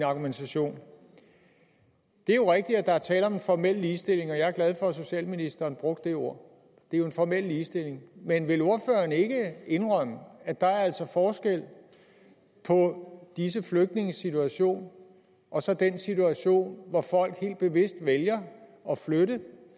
argumentation det er jo rigtigt at der er tale om en formel ligestilling og jeg er glad for at socialministeren brugte det ord det er jo en formel ligestilling men vil ordføreren ikke indrømme at der altså er forskel på disse flygtninges situation og så den situation hvor folk helt bevidst vælger at flytte